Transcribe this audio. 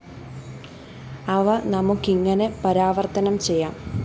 അവ നമുക്കിങ്ങനെ പരാവര്‍ത്തനം ചെയ്യാം